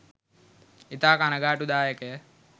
ඉතා කනගාටුදායකය.